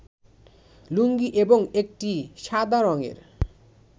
লুঙ্গি এবং একটি সাদা রংয়ের